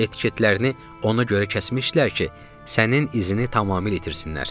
Etiketlərini ona görə kəsmişdilər ki, sənin izini tamamilə itirsinlər.